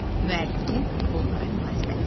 Müəllifin bunlara münasibəti.